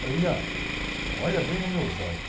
Falei, olha bem nos meus olhos.